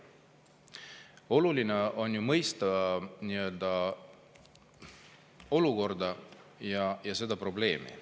Oluline on mõista olukorda ja seda probleemi.